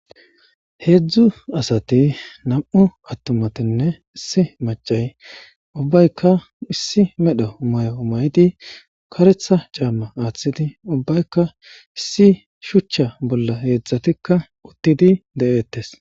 Hezhzhu assati nam'u attumattinne issi maccay ubbaykka issi medhdho mayo mayidi ubbaykka shuchcha bolla uttidi dettes.